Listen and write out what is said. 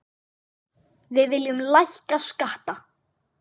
Við viljum lækka skatta.